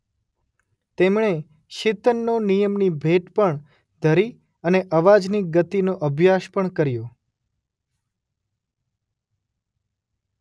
તેમણે શીતનનો નિયમની ભેટ પણ ધરી અને અવાજની ગતિનો અભ્યાસ પણ કર્યો.